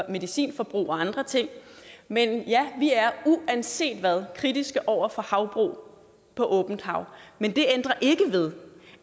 medicinforbrug og andre ting men ja vi er uanset hvad kritiske over for havbrug på åbent hav men det ændrer ikke ved